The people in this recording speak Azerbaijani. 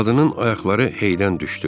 Qadının ayaqları heydən düşdü.